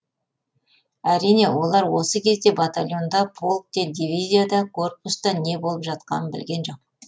әрине олар осы кезде батальонда полкте диви зияда корпуста не болып жатқанын білген жоқ